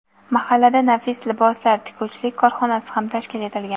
mahallada "Nafis liboslar" tikuvchilik korxonasi ham tashkil etilgan.